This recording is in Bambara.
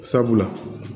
Sabula